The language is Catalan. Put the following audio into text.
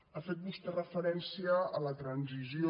ha fet vostè referència a la transició